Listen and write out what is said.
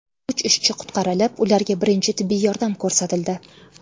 Uch ishchi qutqarilib, ularga birinchi tibbiy yordam ko‘rsatildi.